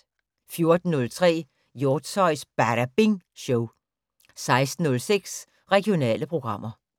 14:03: Hjortshøjs Badabing Show 16:06: Regionale programmer